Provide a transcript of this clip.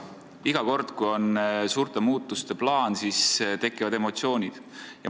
Iga kord, kui on suurte muutuste plaan, tekivad emotsioonid.